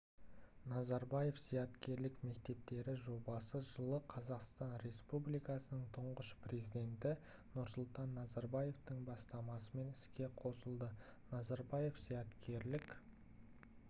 назарбаев зияткерлік мектептері жобасы жылы қазақстан республикасының тұңғыш президенті нұрсұлтан назарбаевтың бастамасымен іске қосылды назарбаев зияткерлік